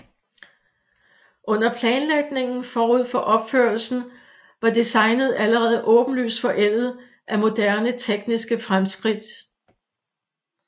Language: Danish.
Under planlægningen forud for opførelsen var designet allerede åbenlyst forældet af moderne tekniske fremskridt